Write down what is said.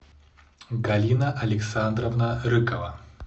галина александровна рыкова